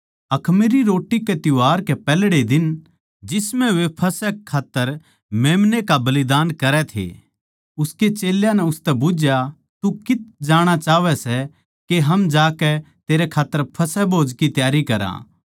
अखमीरी रोट्टी कै त्यौहार कै पैहल्ड़े दिन जिसम्ह वे फसह मेम्‍ने का बलिदान करै थे उसके चेल्यां नै उसतै बुझ्झया तू कित्त जाणा चाहवै सै के हम जाकै तेरै खात्तर फसह भोज की त्यारी करा